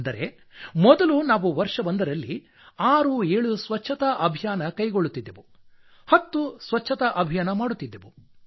ಅಂದರೆ ಮೊದಲು ನಾವು ವರ್ಷವೊಂದರಲ್ಲಿ 67 ಸ್ವಚ್ಛತಾ ಅಭಿಯಾನ ಕೈಗೊಳ್ಳುತ್ತಿದ್ದೆವು 10 ಸ್ವಚ್ಛತಾ ಅಭಿಯಾನ ಮಾಡುತ್ತಿದ್ದೆವು